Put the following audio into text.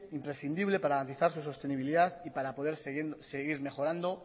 imprescindible para garantizar su sostenibilidad y para poder seguir mejorando